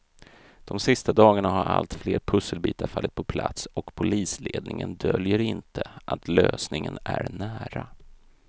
De sista dagarna har allt fler pusselbitar fallit på plats och polisledningen döljer inte att lösningen är nära.